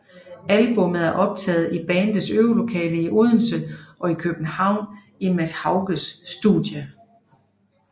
Albummet er optaget i bandets øvelokale i Odense og i København i Mads Haugaards studie